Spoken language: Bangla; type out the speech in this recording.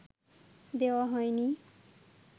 দেওয়া হয়নি